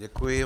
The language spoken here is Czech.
Děkuji.